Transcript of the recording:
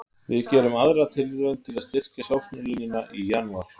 Við gerum aðra tilraun til að styrkja sóknarlínuna í janúar.